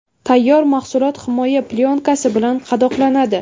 Tayyor mahsulot himoya plyonkasi bilan qadoqlanadi.